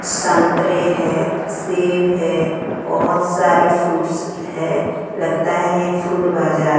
संतरे है सेब है बहोत सारे फ्रूट्स है लगता है ये फ्रूट बाजार--